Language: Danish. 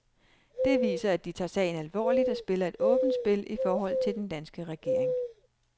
Det viser, at de tager sagen alvorligt og spiller et åbent spil i forhold til den danske regering.